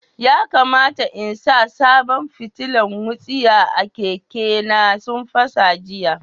Ya kamata n sa sabon fitilan wutsiya a keke na, sun fasa jiya.